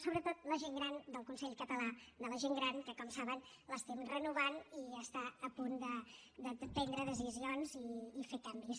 sobretot la gent gran del consell català de la gent gran que com saben l’estem renovant i està a punt de prendre decisions i fer canvis